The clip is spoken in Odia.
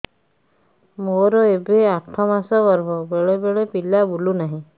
ମୋର ଏବେ ଆଠ ମାସ ଗର୍ଭ ବେଳେ ବେଳେ ପିଲା ବୁଲୁ ନାହିଁ